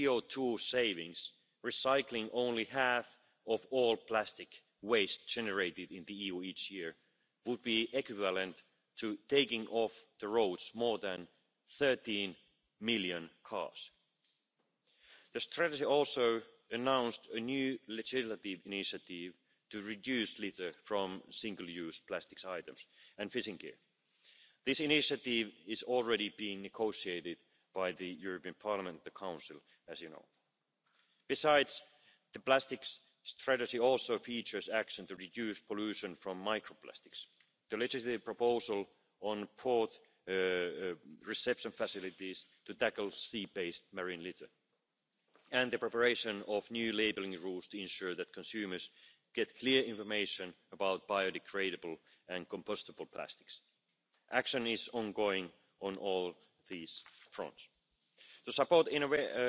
applications related to around 100 recycling processes to de contaminate recycled PET to make that material suitable for food packaging. On batteries, we are going to monitor the coherence of different legislative instruments to ensure a smooth functioning of the internal market for batteries, waste batteries and materials coming from recycled batteries. Also, following the recent adoption of the amendments to the Waste Framework Directive, the Commission and the European Chemicals Agency are looking into establishing a database for the future collection of information on substances of very high concern in articles. Such a database would also help to promote non toxic material recycling and improve the risk management of chemicals during repair and other forms of refuse and waste recovering process. With this summary, I trust that you will agree with me that a significant amount of work is already under way